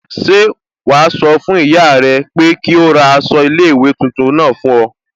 Ṣẹ́ wàá sọ fún ìyá rẹ pé kí ó ra aṣọ iléèwé tuntun náà fún ọ